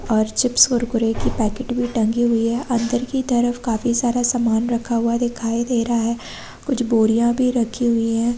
और चिप्स कुरकुरे की पैकेट भी टंगी हुई है अंदर की तरफ काफी सारा सामान रखा हुआ दिखाई दे रहा कुछ बोरियाँ भी रखी हुई हैं।